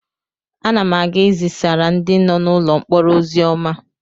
Ana m aga ị zisaara ndị nọ n'ụlọ mkpọrọ ozi ọma.